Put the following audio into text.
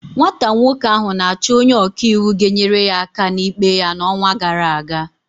Nwata nwoke ahụ na-achọ onye ọka iwu ga-enyere ya aka n'ikpe ya n'ọnwa gara aga.